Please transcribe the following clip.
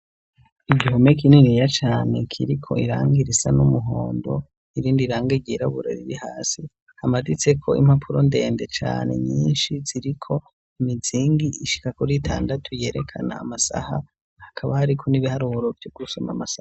igihumeka kininiya cane kiriko irangi risa n'umuhondo irindi rangi ryirabura riri hasi hamaditse ko impapuro ndende cane nyinshi ziriko imizingi ishika kuri itandatu yerekana amasaha hakaba hariko n'ibiharuro vyo gusoma amasaha